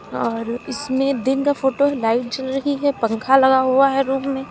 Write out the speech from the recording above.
और इसमें दिन का फोटो है लाइट जल रही है पंख लगा हुआ है रूम में।